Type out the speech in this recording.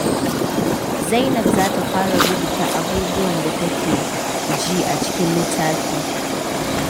Zainab za ta fara rubuta abubuwan da take ji a cikin littafi.